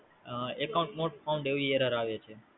Hmm Account not found એવી Error આવે છે.